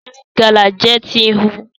Rite Gala jẹ ti nhu.